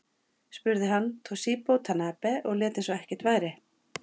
Spruði hann Toshizo Tanabe og lét eins og ekkert væri.